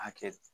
A hakɛ